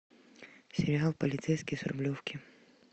сериал полицейский с рублевки